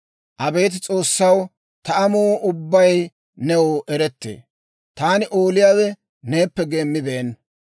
Abeet S'oossaw, ta amuu ubbay new erettee; taani ooliyaawe neeppe geemmibeenna.